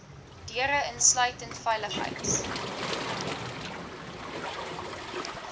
deure insluitend veiligheids